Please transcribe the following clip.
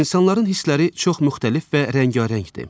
İnsanların hissləri çox müxtəlif və rəngarəngdir.